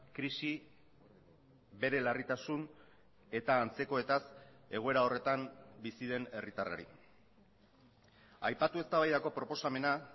krisi bere larritasun eta antzekoetaz egoera horretan bizi den herritarrari aipatu eztabaidako proposamena